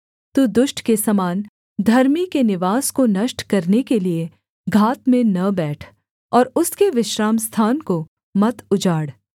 तू दुष्ट के समान धर्मी के निवास को नष्ट करने के लिये घात में न बैठ और उसके विश्रामस्थान को मत उजाड़